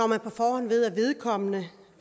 man på forhånd ved at vedkommende